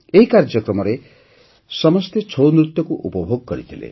ଏହି କାର୍ଯ୍ୟକ୍ରମରେ ସମସ୍ତେ ଛଉ ନୃତ୍ୟକୁ ଉପଭୋଗ କରିଥିଲେ